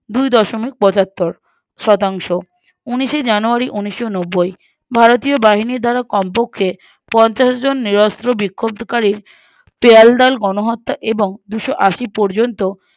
দুই দশমিক পঁচাত্তর শতাংশ উনিশে January ঊনিশনব্বৈ ভারতীয় বাহিনীর দ্বারা কমপক্ষে পঞ্চাশজন নিরোস্ত বিক্ষোব্ধকারী গাওকাডাল গণহত্যা এবং দুশোআশি পর্যন্ত